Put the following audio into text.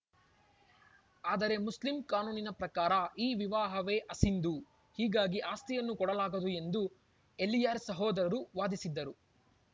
ಆದರೆ ಮುಸ್ಲಿಂ ಕಾನೂನಿನ ಪ್ರಕಾರ ಈ ವಿವಾಹವೇ ಅಸಿಂಧು ಹೀಗಾಗಿ ಆಸ್ತಿಯನ್ನು ಕೊಡಲಾಗದು ಎಂದು ಎಲಿಯಾಸ್‌ ಸಹೋದರು ವಾದಿಸಿದ್ದರು